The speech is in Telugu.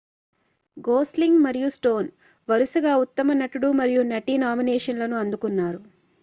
గోస్లింగ్ మరియు స్టోన్ వరుసగా ఉత్తమ నటుడు మరియు నటి నామినేషన్లను అందుకున్నారు